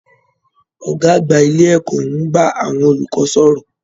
Ọgá àgbà ilé ẹ̀kọ́ n bá àwọn olùkọ sọ̀rọ̀.